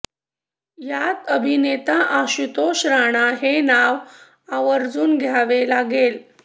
यात अभिनेता आशुतोष राणा हे नाव आवर्जुन घ्यावे लागेल